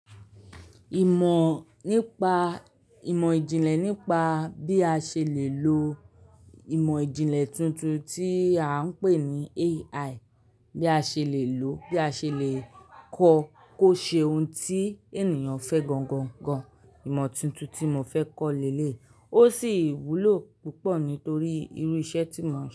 Ìmọ̀ nípa, ìmọ̀ ìjìnlẹ̀ nípa bí a ṣe lè lo ìmọ̀ ìjìnlẹ̀ tuntun tí a ń pè ní AI, bí a ṣe lè lòó, bí a ṣe lè kọ́ kó ṣe ohun tí ènìyàn fẹ́ gangan. Ìmọ̀ tuntun tí mo fẹ́ kọ́ lélè, ó sì wúlò púpọ̀ nítorí irú iṣẹ́ tí mò ń ṣe.